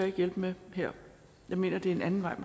ikke hjælpe med her jeg mener at det er en anden vej